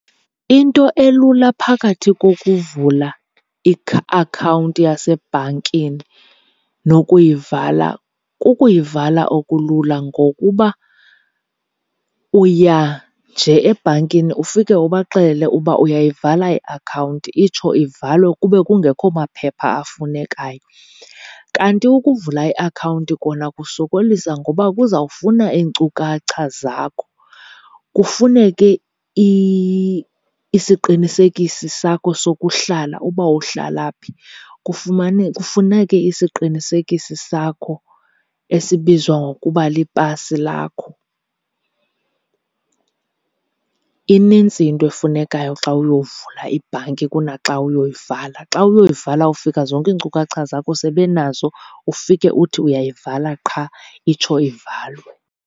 Into elula phakathi kokuvula akhawunti yasebhankini nokuyivala, kukuyivala okulula ngokuba uya nje ebhankini ufike ubaxelele uba uyayivala iakhawunti itsho ivalwe kube kungekho maphepha afunekayo. Kanti ukuvula iakhawunti kona kusokolisa ngoba kuzawufuna iinkcukacha zakho, kufuneke isiqinisekisi sakho sokuhlala uba uhlala phi, kufuneke isiqinisekisi sakho esibizwa ngokuba lipasi lakho. Inintsi into efunekayo xa uyovula ibhanki kunaxa uyoyivala, xa uyoyivala ufika zonke iinkcukacha zakho sebenazo ufike uthi uyayivala qha itsho ivalwe.